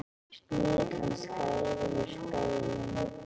Snigillinn skreið yfir spegilinn.